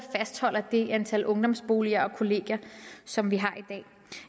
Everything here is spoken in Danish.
fastholder det antal ungdomsboliger og kollegier som vi har